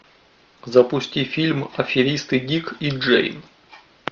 запусти фильм аферисты дик и джейн